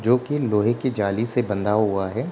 जो कि लोहे की जाली से बंधा हुआ है।